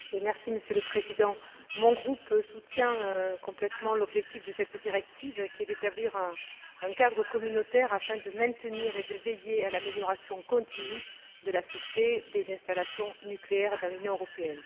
Monsieur le Président, mon groupe soutient complètement l'objectif de cette directive, qui est d'établir un cadre communautaire afin de maintenir et de veiller à l'amélioration continue de la sûreté des installations nucléaires dans l'Union européenne.